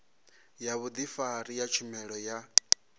ya vhudifari ya tshumelo ya